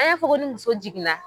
An y'an fɔ ni muso jigin na.